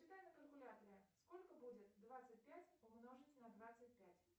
посчитай на калькуляторе сколько будет двадцать пять умножить на двадцать пять